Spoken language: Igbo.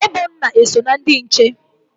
Ebona eso na ndị nche?